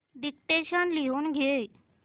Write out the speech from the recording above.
dictation लिहून घे